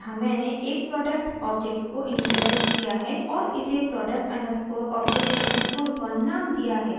यहाँ मैंने एक product ऑब्जेक्ट को इनिशिअलाइज़ किया है और इसे product_object_1 नाम दिया है